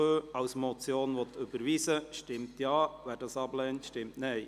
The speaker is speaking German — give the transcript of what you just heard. Wer den Punkt 2 als Motion überweist, stimmt Ja, wer dies ablehnt, stimmt Nein.